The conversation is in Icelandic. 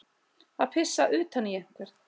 Að pissa utan í einhvern